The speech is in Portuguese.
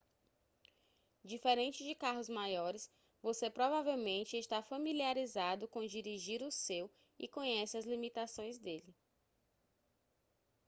diferente de carros maiores você provavelmente está familiarizado com dirigir o seu e conhece as limitações dele